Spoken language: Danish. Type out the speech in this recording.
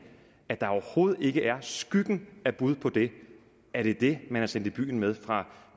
at der overhovedet ikke er skyggen af et bud på det er det det man er sendt i byen med fra